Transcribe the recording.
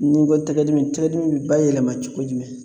Ni n ko tɛgɛ dimi tɛgɛ dimi bi bayɛlɛma cogo jumɛn?